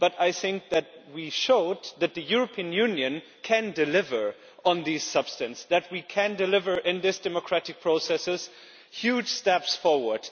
But I think that we showed that the European Union can deliver on this substance, that we can deliver in this democratic process with huge steps forward.